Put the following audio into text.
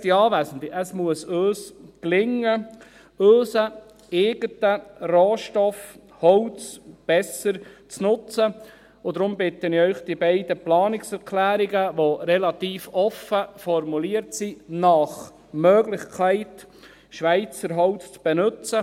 Geschätzte Anwesende, es muss uns gelingen, unseren eigenen Rohstoff Holz besser zu nutzen, und deshalb bitte ich Sie, die beiden Planungserklärungen, die relativ offen formuliert sind, nach Möglichkeit Schweizer Holz zu benutzen …